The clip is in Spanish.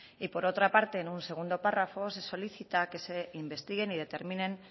y por otra parte en un segundo párrafo se solicita que se investiguen y determinen